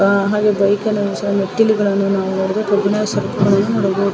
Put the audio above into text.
ಹಾಗೆ ಬೈಕನ್ನ ನಿಲ್ಸಿ ಹಾಗೆ ಮೆಟ್ಟಿಲುಗಳನ್ನ ನಾವು ನೋಡಬಹುದು ಕಬ್ಬಿಣದ ಸರಕುಗಳನ್ನು ನೋಡಬಹುದು.